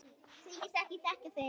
Þykist ekki þekkja mig!